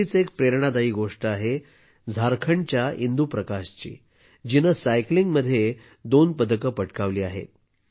अशीच एक प्रेरणादायी गोष्ट आहे झारखंडच्या इंदू प्रकाशची जिने सायकलिंगमध्ये दोन पदके पटकावली आहेत